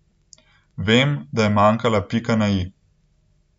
Vem, da je manjkala pika na i.